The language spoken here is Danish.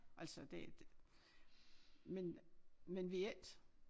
Altså det men men vi er ikke